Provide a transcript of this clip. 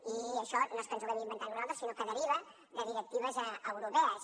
i això no és que ens ho haguem inventat nosaltres sinó que deriva de directives europees